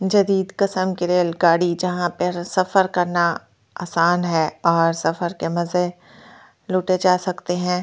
Real गाड़ी जहां पे सफर करना आसान है और सफर के मज़े लूटे जा सकते है।